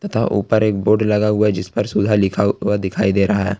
था ऊपर एक बोर्ड लगा हुआ जिस पर सुला लिखा हुआ दिखाई दे रहा है।